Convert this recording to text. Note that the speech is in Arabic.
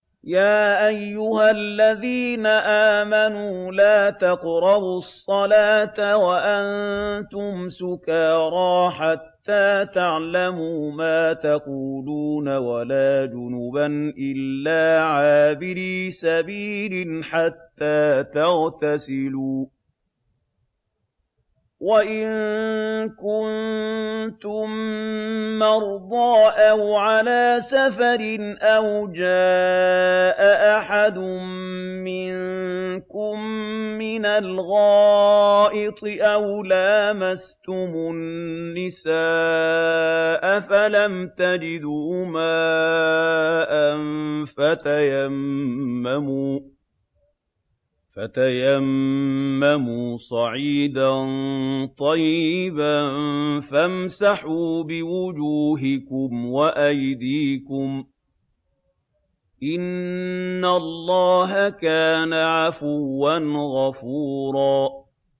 يَا أَيُّهَا الَّذِينَ آمَنُوا لَا تَقْرَبُوا الصَّلَاةَ وَأَنتُمْ سُكَارَىٰ حَتَّىٰ تَعْلَمُوا مَا تَقُولُونَ وَلَا جُنُبًا إِلَّا عَابِرِي سَبِيلٍ حَتَّىٰ تَغْتَسِلُوا ۚ وَإِن كُنتُم مَّرْضَىٰ أَوْ عَلَىٰ سَفَرٍ أَوْ جَاءَ أَحَدٌ مِّنكُم مِّنَ الْغَائِطِ أَوْ لَامَسْتُمُ النِّسَاءَ فَلَمْ تَجِدُوا مَاءً فَتَيَمَّمُوا صَعِيدًا طَيِّبًا فَامْسَحُوا بِوُجُوهِكُمْ وَأَيْدِيكُمْ ۗ إِنَّ اللَّهَ كَانَ عَفُوًّا غَفُورًا